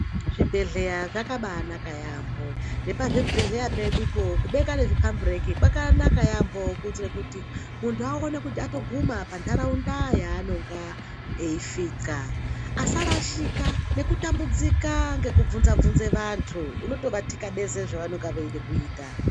Zvibhedhleya zvakabaanaka yaampo nepazvibhedhleya pedupo kubeka nezvipambureki kwakanaka yampo kuitira kuti muntu aone kuti watoguma pantaraunda yaanenge eisvika asarashika nekutambudzika nekutambudzika ngekubvunze bvunze vantu unotovatikabeza zvavanenge veide kuita.